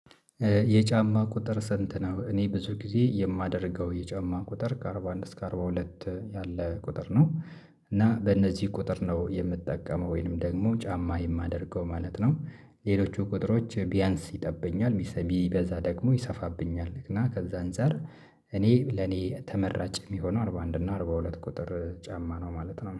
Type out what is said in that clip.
የጫማ ቁጥር ሰንት ነው? እኔ ብዙ ጊዜ የማደርገው የጫማ ቁጥር ከአርባ አንድ እስከ አርባ ሁለት ያለ ቁጥር ነው። እና በእነዚህ ቁጥር ነው የምትጠቀመው ወይንም ደግሞ ጫማ የማደርገው ማለት ነው። ሌሎቹ ቁጥሮች ቢያንስ ይጠበኛል ሚስ ቢበዛ ደግሞ ይሰፋብኛል እና ከዛ አንፃር። እኔ ለኔ ተመራጭ የሚሆነው አርባ አንድ እና አርባ ሁለት ቁጥር ጫማ ነው ማለት ነው